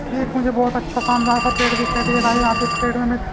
ये भी एक मुझे बहुत अच्छा शानदार सा पेड़ दिखाई दे रहा है यहां पे इस पेड़ में मैं--